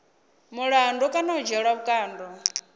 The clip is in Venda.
mulandu kana u dzhielwa vhukando